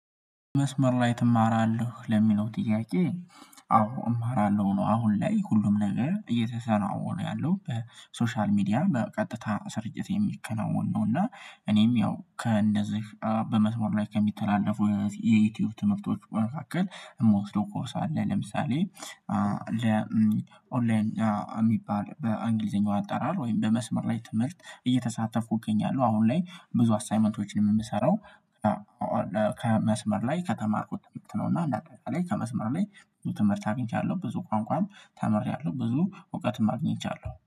መስመር ላይ ትማራለህ ለሚለው ጥያቄ? አዎ እማራለሁ ነው አሁን ላይ ሁሉም ነገ እየተከናወነ ያለው በሶሻል ሚዲያ በቀጥታ ሰርጭት የሚከናወን ነው። እና እኔም ያው ከእንደዚህ በመስመር ላይ ከሚተላለፉ የዩቲዩብ ትምህርቶች በመካከል የምወስደው ኮርስ አለ። ለምሳሌ ለ ኦንላይን የሚባል በእንግሊዘኛው አጠራር ወይም በመስመር ላይ ትምህርት እየተሳተፍኩኝ እገኛለሁ አሁን ላይ ብዙ አሳይመንቶችን የምሰራው። ከመስመር ላይ ከተማርኩት ትምህርት ነው። እና አንድ አጠቃላይ ከመስመር ላይ ብዙ ትምህርት አግኝቻለሁ ብዙ ቋንቋም ተምሬያለሁ ብዙ እውቀትም አግኝቻለሁ